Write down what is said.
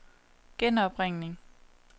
genopringning